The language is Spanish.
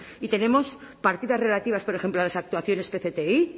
y tenemos partidas relativas por ejemplo a las actuaciones pcti